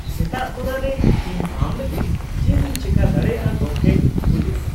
ᱥᱮᱛᱟᱜ ᱛᱚᱨᱟ ᱨᱮ ᱾ ᱤᱧ ᱟᱢ ᱞᱟᱹᱜᱤᱫ ᱪᱮᱫ ᱤᱧ ᱪᱮᱠᱟ ᱫᱟᱲᱮᱭᱟᱜᱼᱟ ᱜᱚᱝᱠᱮ ? (ᱯᱩᱞᱤᱥ)